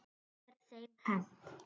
Þar er þeim hent.